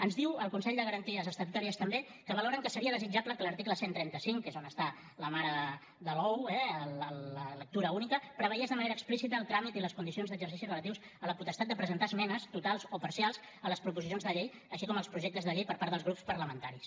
ens diu el consell de garanties estatutàries també que valoren que seria desitjable que l’article cent i trenta cinc que és on està la mare de l’ou eh la lectura única preveiés de manera explícita el tràmit i les condicions d’exercici relatius a la potestat de presentar esmenes totals o parcials a les proposicions de llei així com als projectes de llei per part dels grups parlamentaris